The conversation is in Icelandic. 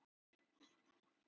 Bría, spilaðu lag.